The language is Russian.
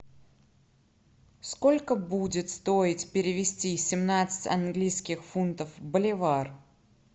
сколько будет стоить перевести семнадцать английских фунтов в боливар